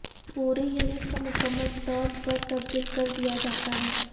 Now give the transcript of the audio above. پوری یونٹ کو مکمل طور پر تبدیل کر دیا جاتا ہے